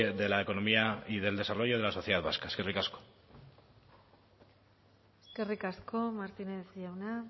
de la economía y del desarrollo de la sociedad vasca eskerrik asko eskerrik asko martínez jauna